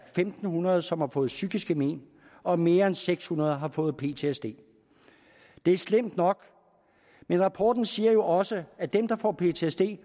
fem hundrede som har fået psykiske men og mere end seks hundrede har fået ptsd det er slemt nok men rapporten siger jo også at dem der får ptsd